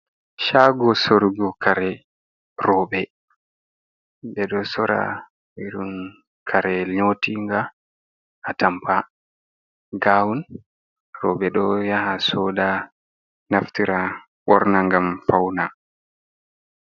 Shago sorugo kare, roobe ɓe ɗo sora irin kare nyotinga atamba gawun, robe do yaha soda naftira ɓorna ngam fauna.